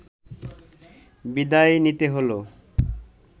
বিদায় নিতে হলো